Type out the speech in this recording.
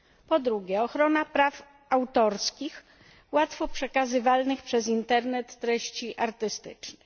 Po drugie ochrona praw autorskich łatwo przekazywalnych przez Internet treści artystycznych.